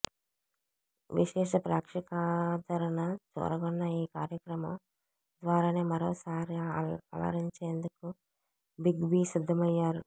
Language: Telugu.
విశేష ప్రేక్షకాదరణ చూరగొన్న ఈ కార్యక్రమం ద్వారానే మరోసారి అలరించేందుకు బిగ్ బీ సిద్ధమయ్యారు